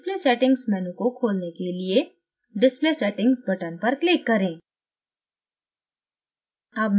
display settings menu को खोलने के लिए display settings button पर click करें